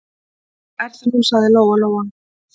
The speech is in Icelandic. Er það nú, sagði Lóa-Lóa.